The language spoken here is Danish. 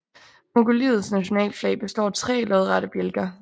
Mongoliets nationalflag består af tre lodrette bjælker